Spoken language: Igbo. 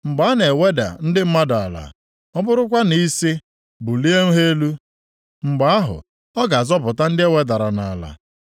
Mgbe a na-eweda ndị mmadụ ala, ọ bụrụkwa na ị sị, ‘Bulienụ ha elu,’ mgbe ahụ ọ ga-azọpụta ndị e wedara nʼala.